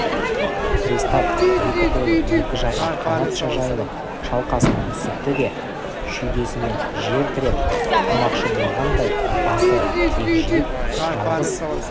пристав екі қолы екі жаққа қанатша жайылып шалқасынан түсіпті де шүйдесімен жер тіреп тұрмақшы болғандай басы кегжиіп жалғыз